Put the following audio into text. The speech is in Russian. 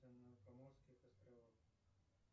на канарских островах